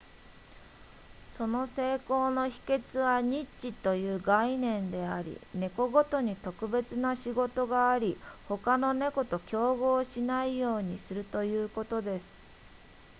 その成功の秘訣はニッチという概念であり猫ごとに特別な仕事があり他の猫と競合しないようにするということです